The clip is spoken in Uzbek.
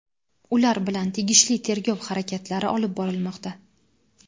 ular bilan tegishli tergov harakatlari olib borilmoqda.